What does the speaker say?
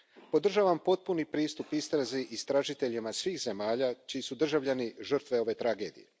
Podržavam potpuni pristup istrazi istražiteljima svih zemalja čiji su državljani žrtve ove tragedije.